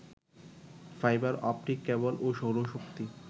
fibre optic cable ও সৌরশক্তি